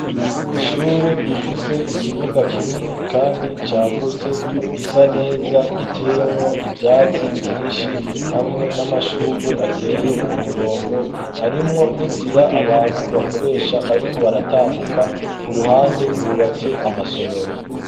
Ishure rifise ikibuga kinini, kandi cagutse gisa neza giteyemwo ivyatsi vyinshi hamwe n'amashurwe ateye ku murongo harimwo ninzira abantu bakoresha bariko baratambuka ku ruhande hubatse amasomero.